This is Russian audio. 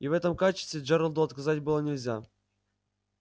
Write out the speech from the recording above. и в этом качестве джералду отказать было нельзя